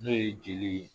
N'o ye jeli ye